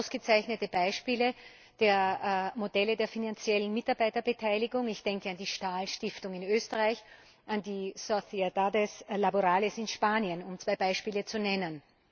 Es gibt ausgezeichnete Beispiele für Modelle der finanziellen Mitarbeiterbeteiligung ich denke an die Stahlstiftung in Österreich, an die sociedades laborales in Spanien, um zwei Beispiele zu nennen.